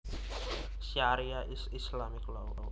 Sharia is Islamic law